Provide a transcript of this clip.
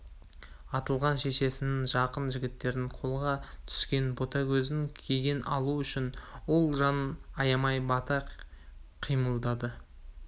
атылған шешесінің жақын жігіттерінің қолға түскен ботагөздің кегін алу үшін ол жанын аямай бата қимылдады